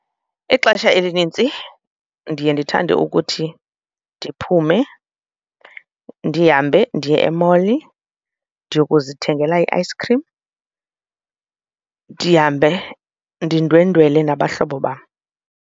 Ixesha elinintsi ndiye ndithande ukuthi ndiphume ndihambe ndiye e-mall ndiyokuzithengela i-ice cream, ndihambe ndindwendwele nabahlobo bam.